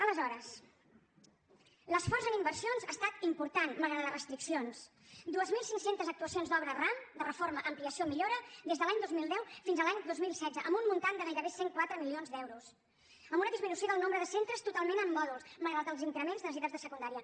aleshores l’esforç en inversions ha estat important malgrat les restriccions dos mil cinc cents actuacions d’obra ram de reforma ampliació i millora des de l’any dos mil deu fins a l’any dos mil setze amb un import de gairebé cent i quatre milions d’euros amb una disminució del nombre de centres totalment en mòduls malgrat els increments de necessitats de secundària